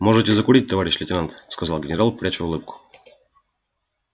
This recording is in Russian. можете закурить товарищ лейтенант сказал генерал пряча улыбку